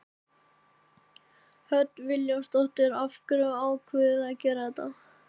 Hödd Vilhjálmsdóttir: Af hverju ákváðuð þið að gera þetta?